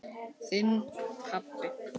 Þinn, pabbi.